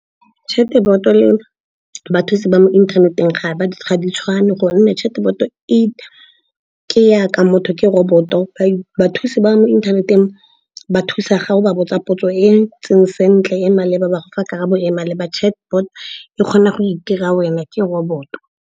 Chatbot-o le bathusi ba mo inthaneteng ga ba tshwane, gonne chatbot-o ke yaka motho, ke robot-o. Bathusi ba mo inthaneteng ba thusa ga o ba botsa potso e e ntseng sentle e maleba, ba go fa karabo e e maleba. Chatbot e kgona go itira wena, ke robot-o.